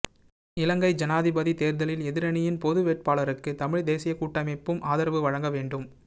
இலங்கை ஜனாதிபதி தேர்தலில் எதிரணியின் பொது வேட்பாளருக்கு தமிழ்த் தேசியக் கூட்டமைப்பும் ஆதரவு வழங்க வேண்டும்